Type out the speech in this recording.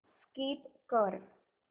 skip कर